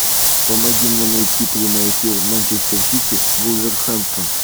помоги мне найти прямой эфир манчестер сити вулверхэмптон